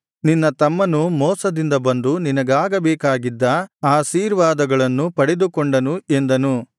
ನಿನ್ನ ತಮ್ಮನು ಮೋಸದಿಂದ ಬಂದು ನಿನಗಾಗಬೇಕಾಗಿದ್ದ ಆಶೀರ್ವಾದವನ್ನು ಪಡೆದುಕೊಂಡನು ಎಂದನು